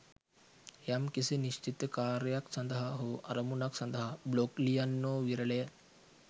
යම් කිසි නිශ්විත කාර්යක් සඳහා හෝ අරමුණක් සඳහා බ්ලොග් ලියන්නෝ විරලය.